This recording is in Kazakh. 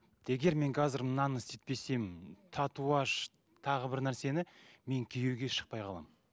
егер мен қазір мынаны істетпесем татуаж тағы бір нәрсені мен күйеуге шықпай қаламын